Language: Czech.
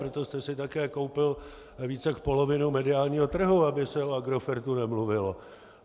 Proto jste si také koupil víc jak polovinu mediálního trhu, aby se o Agrofertu nemluvilo.